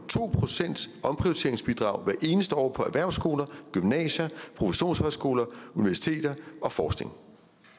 to procent omprioriteringsbidrag hvert eneste år på erhvervsskoler gymnasier professionshøjskoler universiteter og forskning